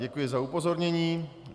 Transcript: Děkuji za upozornění.